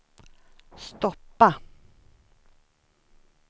stoppa